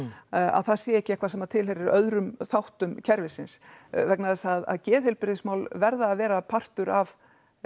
að það sé ekki eitthvað sem tilheyrir öðrum þáttum kerfisins vegna þess að geðheilbrigðismál verða að vera partur af